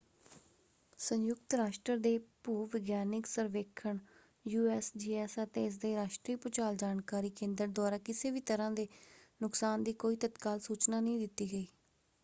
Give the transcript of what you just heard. ਸੰਯੁਕਤ ਰਾਸ਼ਟਰ ਦੇ ਭੂ-ਵਿਗਿਆਨਕ ਸਰਵੇਖਣ ਯੂਐਸਜੀਐਸ ਅਤੇ ਇਸਦੇ ਰਾਸ਼ਟਰੀ ਭੂਚਾਲ ਜਾਣਕਾਰੀ ਕੇਂਦਰ ਦੁਆਰਾ ਕਿਸੇ ਵੀ ਤਰ੍ਹਾਂ ਦੇ ਨੁਕਸਾਨ ਦੀ ਕੋਈ ਤਤਕਾਲ ਸੂਚਨਾ ਨਹੀਂ ਦਿੱਤੀ ਗਈ।